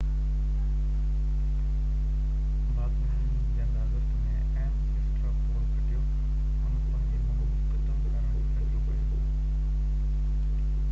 باڪمين جنهن آگسٽ ۾ ايمس اسٽرا پول کٽيو ان پنهنجي مهم ختم ڪرڻ جو فيصلو ڪيو